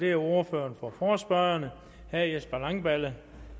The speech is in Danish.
er ordføreren for forespørgerne herre jesper langballe